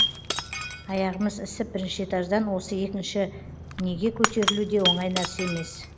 аяғымыз ісіп бірінші этаждан осы екінші неге көтерілу де оңай нәрсе емес